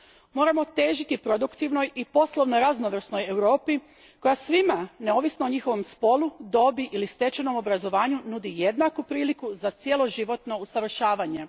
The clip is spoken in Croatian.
Moramo težiti produktivnoj i poslovno raznovrsnoj Europi koja svima, neovisno o njihovom spolu, dobi ili stečenom obrazovanju, nudi jednaku priliku za cjeloživotno usavršavanje.